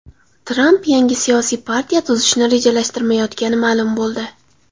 Tramp yangi siyosiy partiya tuzishni rejalashtirmayotgani ma’lum bo‘ldi.